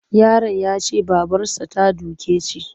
Yaron ya ce babarsa ta doke shi.